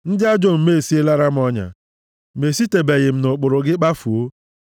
Ndị ajọ omume esielera m ọnya, ma esitebeghị m nʼụkpụrụ gị kpafuo.